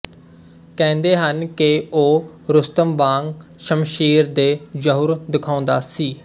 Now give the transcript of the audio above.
ਕਹਿੰਦੇ ਹਨ ਕਿ ਉਹ ਰੁਸਤਮ ਵਾਂਗ ਸ਼ਮਸ਼ੀਰ ਦੇ ਜਹੁਰ ਦਿਖਾਉਂਦਾ ਸੀ